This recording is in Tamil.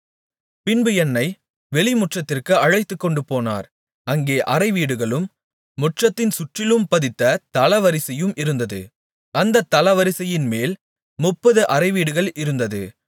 பின்பு என்னை வெளிமுற்றத்திற்கு அழைத்துக்கொண்டுபோனார் அங்கே அறைவீடுகளும் முற்றத்தின் சுற்றிலும் பதித்த தளவரிசையும் இருந்தது அந்தத் தளவரிசையின்மேல் முப்பது அறைவீடுகள் இருந்தது